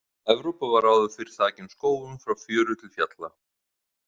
Evrópa var áður fyrr þakin skógum frá fjöru til fjalla.